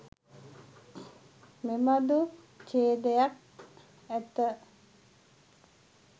මෙබඳු ඡේදයක් ඇත.